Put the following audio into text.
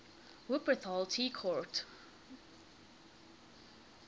wupperthal tea court